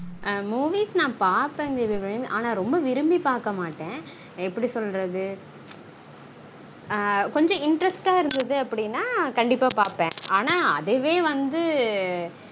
ஆஹ் movies நான் பாப்பாங்கா தேவியபிராமி ஆனா ரொம்ப விரும்பி பாக்க மாட்டன் கொஞ்சம் interest ஆ இருந்தது அப்டினா கண்டீப்பா பாப்பான் ஆனா அதுவெ வந்து